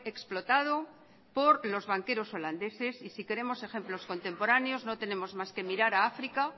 explotado por los banqueros holandeses y si queremos ejemplos contemporáneos no tenemos más que mirar a áfrica